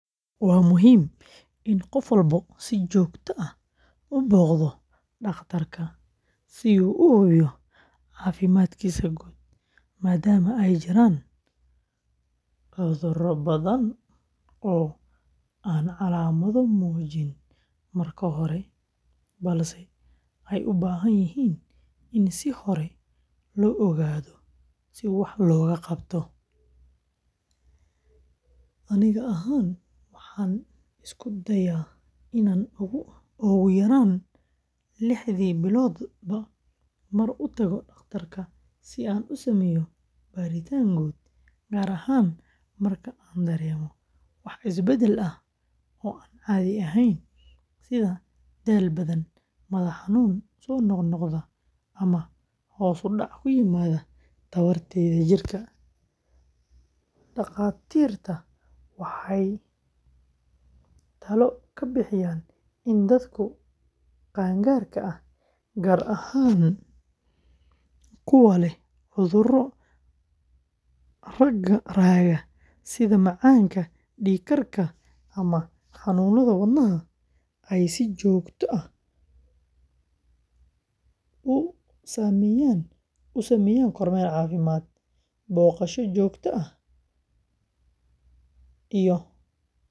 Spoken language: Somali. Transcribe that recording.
Waa muhiim in qof walba si joogto ah u booqdo dhakhtarka si uu u hubiyo caafimaadkiisa guud, maadaama ay jiraan cudurro badan oo aan calaamado muujin marka hore, balse ay u baahan yihiin in si hore loo ogaado si wax looga qabto. Aniga ahaan, waxaan isku dayaa inaan ugu yaraan lixdii biloodba mar u tago dhakhtarka si aan u sameeyo baaritaan guud, gaar ahaan marka aan dareemo wax isbeddel ah oo aan caadi ahayn sida daal badan, madax-xanuun soo noqnoqda, ama hoos u dhac ku yimaada tamarta jirka. Dhakhaatiirta waxay talo ka bixiyaan in dadka qaangaarka ah, gaar ahaan kuwa leh cudurro raaga sida macaanka, dhiig karka, ama xanuunada wadnaha, ay si joogto ah u sameeyaan kormeer caafimaad. Booqashada joogtada ah ee dhakhtarka.